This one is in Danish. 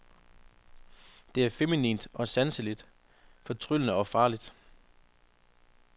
Det er feminint og sanseligt, fortryllende og farligt.